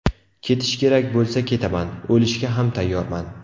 Ketish kerak bo‘lsa ketaman, o‘lishga ham tayyorman.